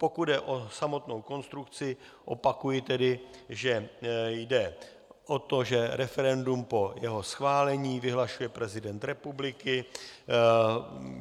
Pokud jde o samotnou konstrukci, opakuji tedy, že jde o to, že referendum po jeho schválení vyhlašuje prezident republiky.